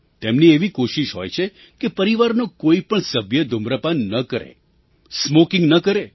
તેમની એવી કોશિશ હોય છે કે પરિવારનો કોઈ પણ સભ્ય ધૂમ્રપાન ન કરે સ્મૉકિંગ ન કરે